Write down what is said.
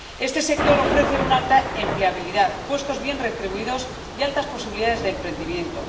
Este sector ofrece una alta empleabilidad, puestos bien retribuidos y altas posibilidades de emprendimiento.